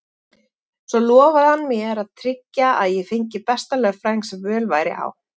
Svo lofaði hann mér að tryggja að ég fengi besta lögfræðing sem völ væri á.